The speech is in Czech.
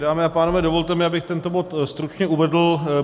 Dámy a pánové, dovolte mi, abych tento bod stručně uvedl.